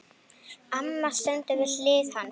Amma stendur við hlið hans.